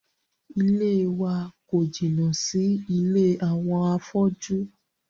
Ilée wa kò jìnnà sí ilé àwọn afọ́jú.